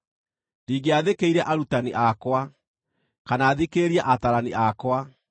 Ndingĩathĩkĩire arutani akwa, kana thikĩrĩrie ataarani akwa.